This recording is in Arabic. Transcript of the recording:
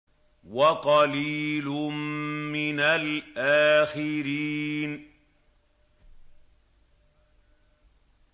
وَقَلِيلٌ مِّنَ الْآخِرِينَ